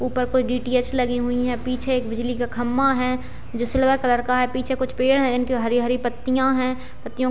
ऊपर कुछ डी.टी.एच. लगी हुई है पीछे एक बिजली का खंभा है जो सिल्वर कलर का है पीछे कुछ पेड़ है इनकी हरी-हरी पत्तियां है पत्तियों --